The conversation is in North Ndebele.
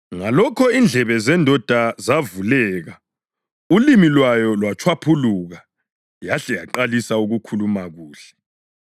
Ngalokhu indlebe zendoda zavuleka, ulimi lwayo lwatshwaphuluka yahle yaqalisa ukukhuluma kuhle.